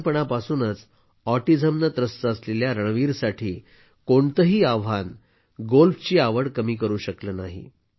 लहानपणापासूनच ऑटिझमने त्रस्त असलेल्या रणवीरसाठी कोणतेही आव्हान गोल्फची आवड कमी करू शकले नाही